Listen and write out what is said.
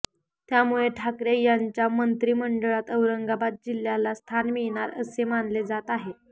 त्यामुळे ठाकरे यांच्या मंत्रिमंडळात औरंगाबाद जिल्ह्याला स्थान मिळणार असे मानले जात आहे